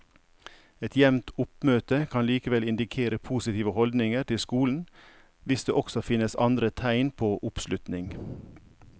Et jevnt oppmøte kan likevel indikere positive holdninger til skolen hvis det også finnes andre tegn på oppslutning.